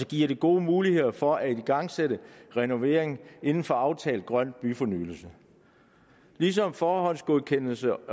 giver gode muligheder for at igangsætte renovering inden for aftalt grøn byfornyelse ligesom forhåndsgodkendelse